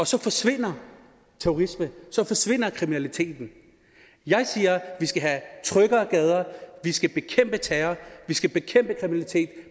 så forsvinder terrorisme så forsvinder kriminaliteten jeg siger at vi skal have tryggere gader at vi skal bekæmpe terror at vi skal bekæmpe kriminalitet